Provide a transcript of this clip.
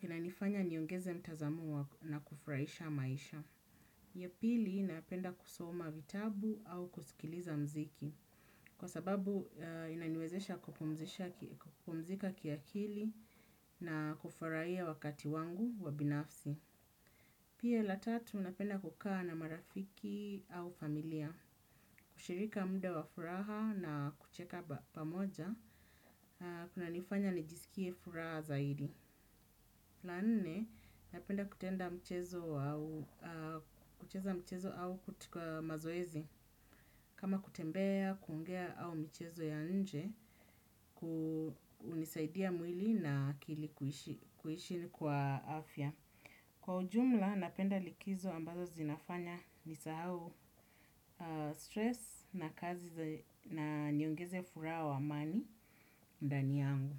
Inanifanya niongeze mtazamo wa na kufurahisha maisha. Ya pili, napenda kusoma vitabu au kusikiliza muziki, kwa sababu inaniwezesha kupomzika kiakili na kufurahia wakati wangu wa binafsi. Pia la tatu, napenda kukaa na marafiki au familia, kushirika muda wa furaha na kucheka pamoja, kuna nifanya nijisikie furaha zaidi. La nne, napenda kutenda mchezo au katika mazoezi. Kama kutembea, kuongea au michezo ya nje, hunisaidia mwili na akili kuishi kwa afya. Kwa ujumla, napenda likizo ambazo zinafanya ni sahau stress na kazi na niongeze furaha wa amani ndani yangu.